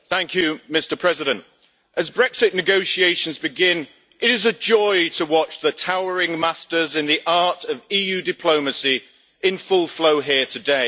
Mr President, as Brexit negotiations begin, it is a joy to watch the towering masters in the art of EU diplomacy in full flow here today.